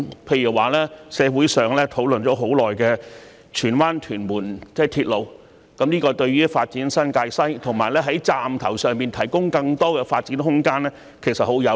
例如社會上討論已久的荃灣─屯門鐵路，這對於發展新界西和在車站上蓋提供更多發展空間是十分有利的。